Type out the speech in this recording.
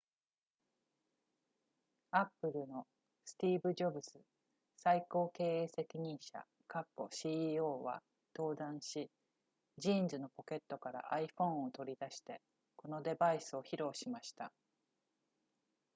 apple のスティーブジョブズ最高経営責任者 ceo は登壇しジーンズのポケットから iphone を取り出してこのデバイスを披露しました